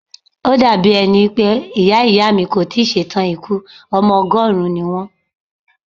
Ó dà bí ẹni pé Ìyá Ìyá mi kò tí ì ṣe tàn ikú, ọmọ ọgọ́rùn-ún ni wón.